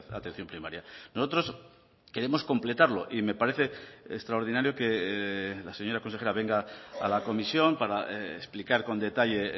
atención primaria nosotros queremos completarlo y me parece extraordinario que la señora consejera venga a la comisión para explicar con detalle